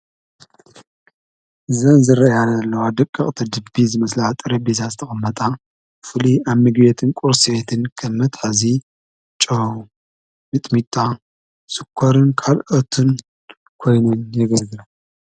ዘን ዝረአያ ዘለዋ ደቀቅቲ ጂፒዝ ዝመስላ ጠረጴዛ ዝተቀመጣ ፍሉይ ኣብ ምግቤትን ቁርስቤትን ከም መትሐዚ ጨው ፣ሚጥሚጣ፣ ሽኮርን ካልኦትን ኮይነን የገልግላ ።